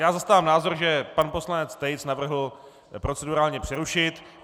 Já zastávám názor, že pan poslanec Tejc navrhl procedurálně přerušit.